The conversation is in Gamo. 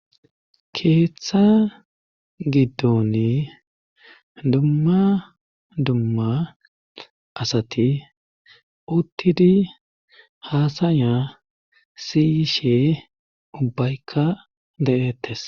Keeththa giddooni dumma dumma asati uttidi haasaya siyishe ubbaykka de7ettes.